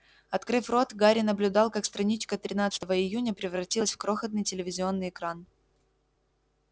открыв рот гарри наблюдал как страничка тринадцатого июня превратилась в крохотный телевизионный экран